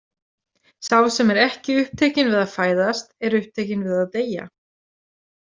Sá sem er ekki upptekinn við að fæðast, er upptekinn við að deyja.